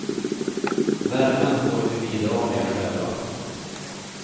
Värmen får vi bidra med själva.